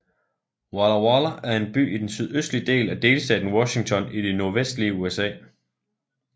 Walla Walla er en by i den sydøstlige del af delstaten Washington i det nordvestlige USA